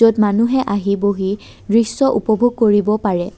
য'ত মানুহে আহি বহি দৃশ্য উপভোগ কৰিব পাৰে।